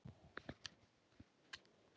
Hann finnst í Japan.